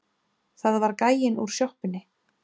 Það var gæinn úr sjoppunni.